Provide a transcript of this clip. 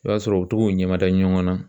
I b'a sɔrɔ u bi to k'u ɲɛmada ɲɔgɔn na